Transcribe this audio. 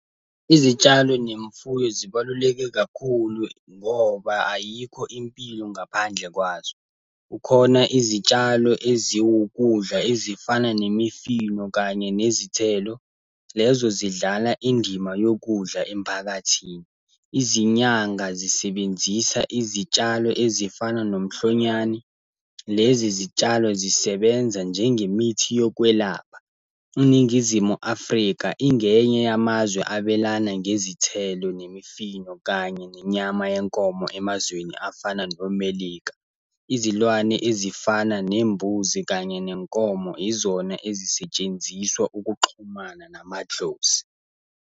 Izitshalo nemfuyo zibaluleke kakhulu, ngoba ayikho impilo ngaphandle kwazo. Kukhona izitshalo eziwukudla ezifana nemifino kanye nezithelo, lezo zidlala indima yokudla emphakathini. Izinyanga zisebenzisa izitshalo ezifana nomhlonyane, lezi zitshalo zisebenza njenge mithi yokwelapha. INingizimu Afrika ingenye yamazwe abelana ngezithelo, nemifino kanye nenyama yenkomo emazweni afana noMelika. Izilwane ezifana nembuzi kanye nenkomo izona ezisetshenziswa ukuxhumana namadlozi.